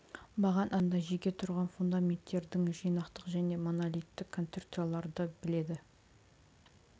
баған астында жеке тұрған фундаменттердің жинақтық және монолиттік конструкцияларды біледі